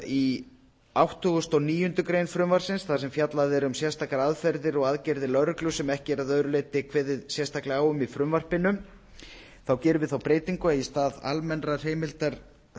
í áttugasta og níundu grein frumvarpsins þar sem fjallað er um sérstakar aðferðir og aðgerðir lögreglu sem ekki er að öðru leyti kveðið sérstaklega á um í frumvarpinu gerum við þá breytingu að í stað almennrar heimildar